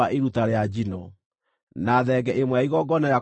na thenge ĩmwe ya igongona rĩa kũhoroherio mehia;